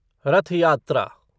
रथ यात्रा